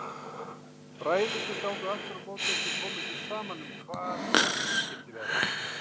Bræðurnir gátu aftur á móti ekki komið sér saman um hvar borgin skyldi vera.